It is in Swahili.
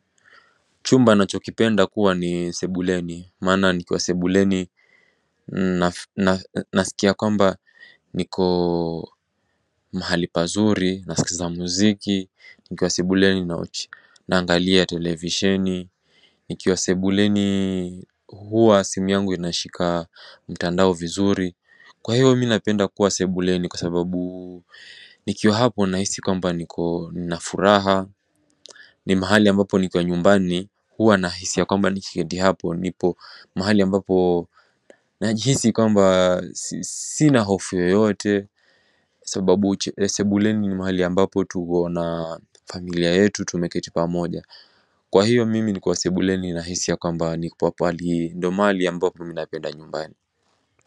Chumba nachokipenda kuwa ni sebuleni, maana nikiwa sebuleni Nasikia kwamba niko mahali pazuri, nasikiza muziki, nikiwa sebuleni na angalia televisheni Nikiwa sebuleni huwa simu yangu inashika mtandao vizuri Kwa hiyo minapenda kuwa sebuleni kwa sababu nikiwa hapo nahisi kwamba niko na furaha Ni mahali ambapo ni kwa nyumbani huwa na hisi ya kwamba ni kiketi hapo nipo mahali ambapo Najisi kwamba sina hofu yote Sababu sebuleni ni mahali ambapo tuko na familia yetu tumeketi pa moja Kwa hiyo mimi ni kwa sebuleni na hisi ya kwamba ni kwa pahali ndo mahali ambapo minapenda nyumbani.